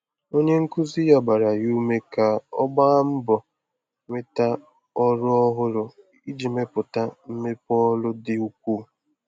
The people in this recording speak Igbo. Onye nkuzi ya gbaara ya ume ka ọ gbaa mbọ nweta ọrụ ọhụrụ iji mepụta mmepe ọrụ dị ukwuu.